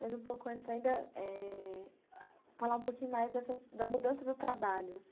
Mas um pouco antes ainda eh... falar um pouquinho mais dessas, da mudança do trabalho, assim...